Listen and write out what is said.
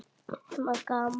Nema gaman.